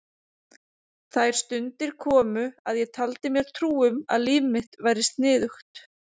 Þær stundir komu að ég taldi mér trú um að líf mitt væri sniðugt.